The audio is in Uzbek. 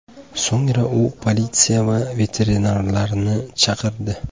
So‘ngra u politsiya va veterinarlarni chaqirdi.